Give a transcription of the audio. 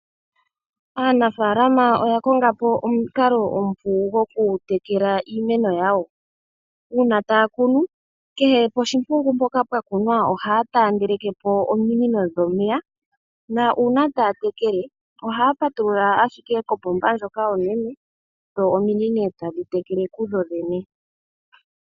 Aanafaalama oya konga po omukalo omupu gwokutekela iimeno yawo. Uuna taya kunu, kehe poshimpungu mpoka pwa kunwa ohaya taandeleke po ominino dhomeya nuuna taya tekele ohaya patulula ashike kopomba ndjoka onene dho ominino tadhi tekele kudho dhene.